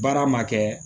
Baara ma kɛ